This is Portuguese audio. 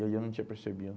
E aí eu não tinha percebido.